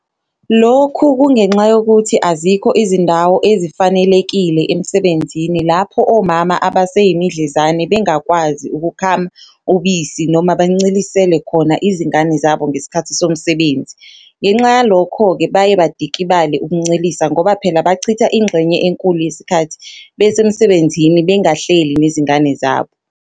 Lokhu kungenxa yokuthi azikho izindawo ezifanelekile emsebenzini lapho omama abaseyimidlezane bengakwazi ukukhama ubisi noma bancelisele khona izingane zabo ngesikhathi somsebenzi, ngenxa yalokho-ke baye badikibale ukuncelisa ngoba phela bachitha ingxenye enkulu yesikhathi besemsebenzini bengahleli nezingane zabo.